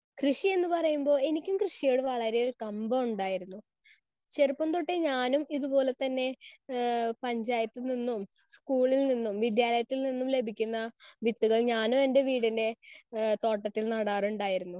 Speaker 1 കൃഷി എന്ന് പറയുമ്പോൾ എനിക്കും കൃഷിയോട് വളരെ കമ്പം ഉണ്ടായിരുന്നു. ചെറുപ്പംതൊട്ടേ ഞാനും ഇതുപോലെതന്നെ ആഹ് പഞ്ചായത്തിൽ നിന്നും സ്കൂളിൽ നിന്നും വിദ്യാലയത്തിൽ നിന്നും ലഭിക്കുന്ന വിത്തുകൾ ഞാനും എൻറെ വീടിൻറെ ആഹ് തോട്ടത്തിൽ നടാറുണ്ടായിരുന്നു.